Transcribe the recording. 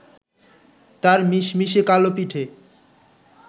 তাঁর মিশমিশে কালো পিঠে